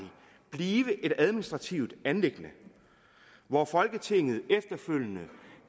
blive et administrativt anliggende hvor folketinget efterfølgende